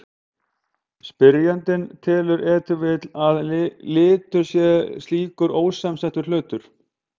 Spyrjandinn telur ef til vill að litur sé slíkur ósamsettur hlutur.